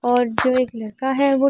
और जो एक लड़का है वो --